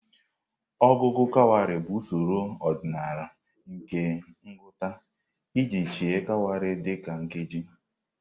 Ọgụgụ kawarị bụ usoro ọdịnala nke ngụta iji sheị̀ kawarị dị ka nkeji.